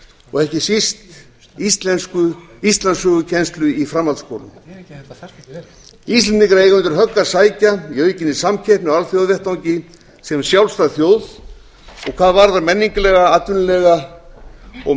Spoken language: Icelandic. og ekki síst íslandssögukennslu í framhaldsskólum íslendingar eiga undir högg að sækja í aukinni samkeppni á alþjóðavettvangi sem sjálfstæð þjóð og hvað varðar menningarlega atvinnulega og